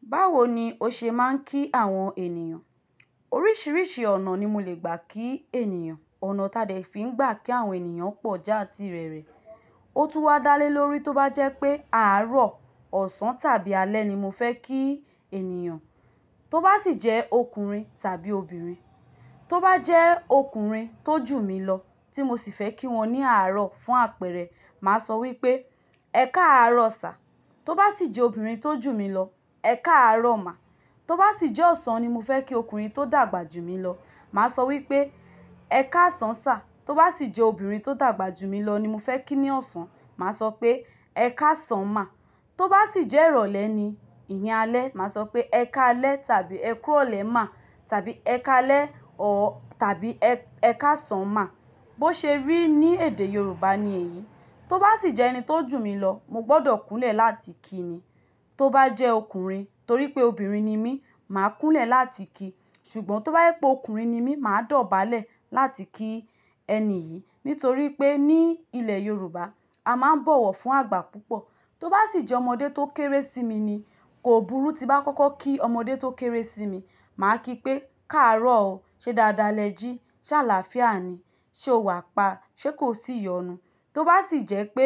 Báwo ni ó ṣe máa ń kí àwọn ènìyàn? Oríṣiríṣi ọ̀nà ni mo lè gbà kí ènìyàn. Ọ̀nà táa de fi ń gbà kí àwọn ènìyàn pọ̀ já ti rere. Ó tún wá dá lé lórí tó bá jẹ́ pé àárọ̀, ọ̀sán tàbí alẹ́ ni mo fẹ́ kí ènìyàn. Tó bá sì jẹ́ ọkùnrin tàbí obìnrin. Tó bá jẹ́ ọkùnrin tó jù mí lọ tí mo sì fẹ́ kí wọ́n ní àárọ̀ fún àpẹẹrẹ, màá sọ wí pé 'ẹkáàárọ̀ sá. Tó bá sì jẹ́ obìnrin tó jù mí lọ, 'ẹkáàárọ̀ mà'. Tó bá sì jẹ́ ọ̀sán ni mo fẹ́ kí ọkùnrin tó dàgbà jù mí lọ, màá sọ wí pé 'ẹkáàsán sá'. Tó bá sì jẹ́ obìnrin tó dàgbà jù mí lọ ni mo fẹ́ kí ní ọ̀sán, màá sọ pé 'ẹkáàsán mà'. Tó bá sì jẹ́ ìrọ̀lẹ́ ni ìní alẹ́, màá sọ pé 'ẹkáalẹ́' tàbí 'ẹkú ìrọ̀lẹ́ mà' tàbí 'ẹkáalẹ́ or tàbí 'ẹkáàsán mà'. Bó ṣe rí, ní èdè Yorùbá ni èyí. Tó bá sì jẹ́ ẹni tó jù mí lọ, mo gbọ́dọ̀ kúnlẹ̀ láti kí ni. Tó bá jẹ́ ọkùnrin, torí pé obìnrin ni mí, màá kúnlẹ̀ láti kí. Ṣùgbọ́n tó bá je pé ọkùnrin ni mí, màá dọ̀bálẹ̀ láti kí ẹni yìí. Nítorí pé ní ilẹ̀ Yorùbá, a máa ń bọ̀wọ̀ fún àgbà púpọ̀. Tó bá sì jẹ́ ọmọdé tó kéré sí mi ni, kò burú tí bá kọ́kọ́ kí ọmọdé tó kéré sí mi. Màá kí pé "káàárọ̀ o, ṣe dáadáa lẹ jí, ṣàlàáfíà ni, ṣe o wà pa, ṣé kò sì iyọ̀nú?" Tó bá sì jẹ́ pé